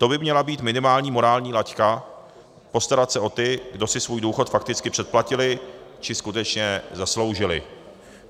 To by měla být minimální morální laťka, postarat se o ty, kdo si svůj důchod fakticky předplatili či skutečně zasloužili.